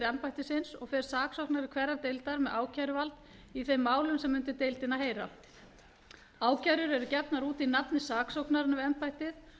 embættisins og fer saksóknari hverrar deildar með ákæruvald í þeim málum sem undir deildina heyra ákærur eru gefnar út í nafni saksóknaranna við embættið